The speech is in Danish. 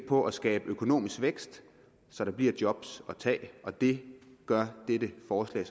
på at skabe økonomisk vækst så der bliver job at tage det gør dette forslag